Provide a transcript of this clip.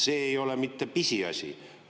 See ei ole mitte pisiasi.